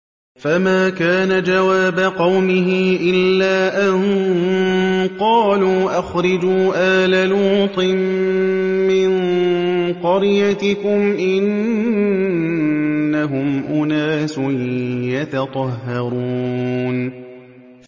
۞ فَمَا كَانَ جَوَابَ قَوْمِهِ إِلَّا أَن قَالُوا أَخْرِجُوا آلَ لُوطٍ مِّن قَرْيَتِكُمْ ۖ إِنَّهُمْ أُنَاسٌ يَتَطَهَّرُونَ